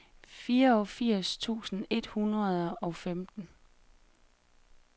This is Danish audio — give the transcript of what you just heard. fireogfirs tusind et hundrede og femten